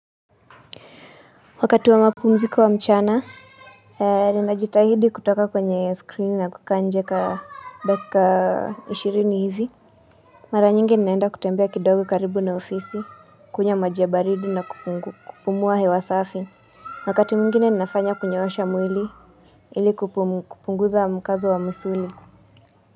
Wakati wa mapumziko wa mchana Ninajitahidi kutoka kwenye screen na kukaa nje kwa dakika 20 hivi Mara nyingi ninaenda kutembea kidogo karibu na ofisi kunywa maji ya baridi na kupumua hewa safi Wakati mwingine ninafanya kunyoosha mwili ili kupunguza mkazo wa msuli.